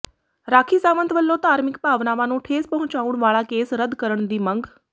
ਰਾਖੀ ਸਾਵੰਤ ਵੱਲੋਂ ਧਾਰਮਿਕ ਭਾਵਨਾਵਾਂ ਨੂੰ ਠੇਸ ਪਹੁੰਚਾਉਣ ਵਾਲਾ ਕੇਸ ਰੱਦ ਕਰਨ ਦੀ ਮੰਗ